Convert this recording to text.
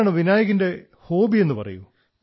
Vinayak I would like to know your hobbies